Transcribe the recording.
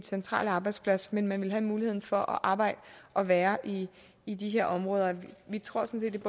centrale arbejdsplads men man ville have muligheden for at arbejde og være i i de her områder vi tror sådan set